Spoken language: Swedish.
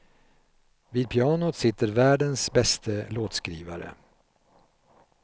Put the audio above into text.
Vid pianot sitter världens bäste låtskrivare.